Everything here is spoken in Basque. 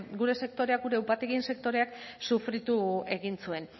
gure sektorea gure upategien sektoreak sufritu egin zuen